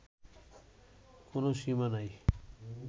কোনও সীমা নাই